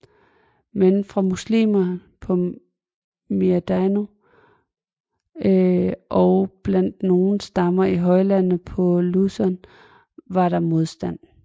Men fra muslimerne på Mindanao og blandt nogle stammer i højlandet på Luzon var der modstand